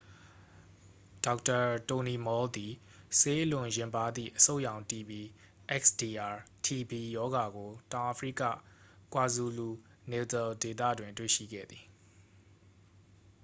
ဒေါက်တာ တိုနီမော်လ် သည် ဆေးအလွန်ယဉ်ပါးသည့် အဆုတ်ရောင် တီဘီ xdr-tb ရောဂါကို တောင်အာဖရိက ကွာဇူလူ-နေတယ်လ် ဒေသတွင် တွေ့ရှိခဲ့သည်။